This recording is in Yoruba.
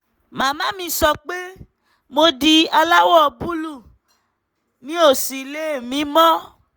màmá mi sọ pé mo di aláwọ̀ búlúù mi ò sì lè mí mọ́